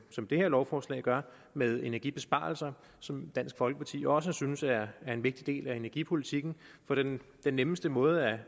som det her lovforslag gør med energibesparelser som dansk folkeparti også synes er en vigtig del af energipolitikken for den nemmeste måde at